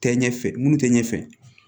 Tɛ ɲɛ fɛ minnu tɛ ɲɛfɛ